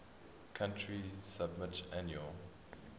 country submit annual